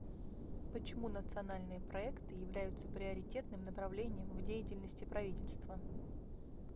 почему национальные проекты являются приоритетным направлением в деятельности правительства